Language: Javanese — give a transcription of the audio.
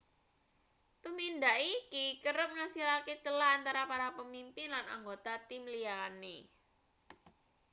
tumindak iki kerep ngasilake celah antarane para pemimpin lan anggota tim liyane